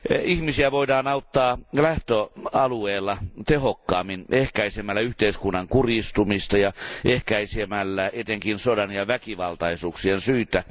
Ihmisiä voidaan auttaa lähtöalueella tehokkaammin ehkäisemällä yhteiskunnan kurjistumista ja ehkäisemällä etenkin sodan ja väkivaltaisuuksien syitä.